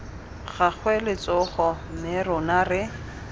gagwe letsogo mme rona re